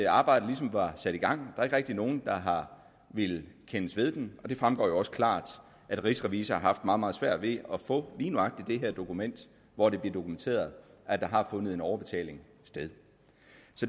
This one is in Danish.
arbejdet ligesom var sat i gang der er ikke rigtig nogen der har villet kendes ved den og det fremgår jo også klart at rigsrevisor har haft meget meget svært ved at få lige nøjagtig det her dokument hvor det bliver dokumenteret at der har fundet en overbetaling sted